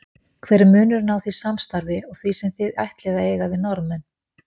Hver er munurinn á því samstarfi og því sem þið ætlið að eiga við Norðmenn?